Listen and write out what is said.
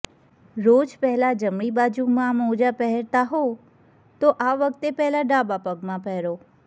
રોજ પહેલા જમણી બાજુ મોજા પહેરતાં હો તો આ વખતે પહેલા ડાબા પગમાં પહેરો